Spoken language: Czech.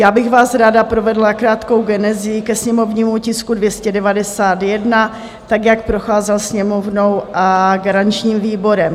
Já bych vás ráda provedla krátkou genezí ke sněmovnímu tisku 291, tak, jak procházel Sněmovnou a garančním výborem.